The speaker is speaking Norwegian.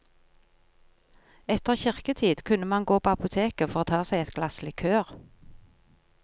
Etter kirketid kunne man gå på apoteket for å ta seg et glass likør.